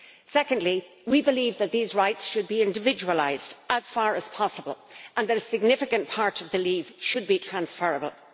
Secondly, we believe that these rights should be individualised, as far as possible, and that a significant part of the leave should be transferable.